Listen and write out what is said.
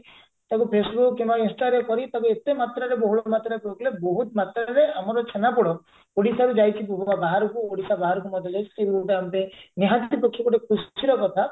ତାକୁ facebook କିମ୍ବା insta ରେ କରି ତାକୁ ଏତେ ମାତ୍ରାରେ ବହୁଳ ମାତ୍ରାରେ ବହୁତ ମାତ୍ରାରେ ଆମର ଛେନାପୋଡ ଓଡିଶାରୁ ଯାଇଛି ପୁରା ବାହାରକୁ ଓଡିଶା ବାହାରକୁ ମଧ୍ୟ ଯାଇଛି ଯଉଟା ଆମପାଇଁ ନିହାତି ପକ୍ଷେ ଗୋଟେ ଖୁସିର କଥା